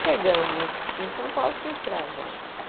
Chegamos em São Paulo, quem tirava o homem da casa?